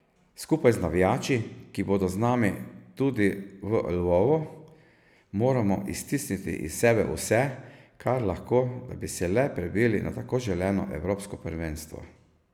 Skupaj z navijači, ki bodo z nami tudi v Lvovu, moramo iztisniti iz sebe vse, kar lahko, da bi se le prebili na tako želeno evropsko prvenstvo!